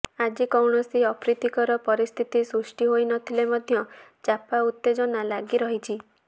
ଆଜି କୌଣସି ଅପ୍ରୀତିକର ପରିସ୍ଥିତି ସୃଷ୍ଟି ହୋଇନଥିଲେ ମଧ୍ୟ ଚାପା ଉତ୍ତେଜନା ଲାଗି ରହିଛି